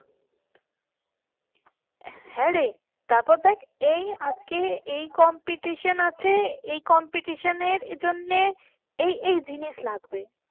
হ্যাঁরে তারপর দেখ এই আজকে এই competition আছে। এই competition এর জন্য এই এই জিনিস লাগবে।